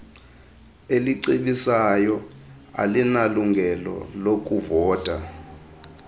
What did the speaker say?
elicebisayo alinalungelo lakuvota